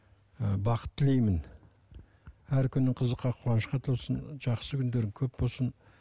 ы бақыт тілеймін әр күнің қызыққа қуанышқа толсын жақсы күндерің көп болсын